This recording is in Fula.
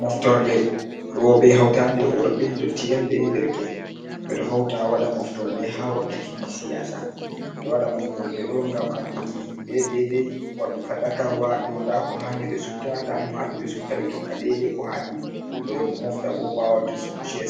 Moftorle roɓe, hautade e worbe, ndottien be derke, en. Ɓeɗo hawta waɗa moftorle ha wakkatiji siyasa. Ɓeɗo waɗa moftorle ɗo ngam anduki be dai dai fadakarwaa, dow nda ko hani ɓe sufta, ndamo hani be sufta. Ɓe tokka dai dai ko hani. Ɓeɗo moftabo ɓawo to